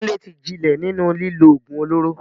Kunle ti jinlẹ̀ nínú lílo ògùn olóró.